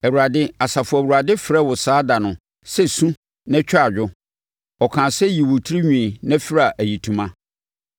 Awurade, Asafo Awurade, frɛɛ wo saa da no sɛ su na twa adwo, ɔkaa sɛ yi wo tirinwi na fira ayitoma.